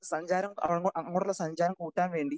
speaker 2 സഞ്ചാരം അങ്ങോട്ടുള്ള സഞ്ചാരം കൂട്ടാൻ വേണ്ടി